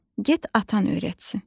Get atan öyrətsin.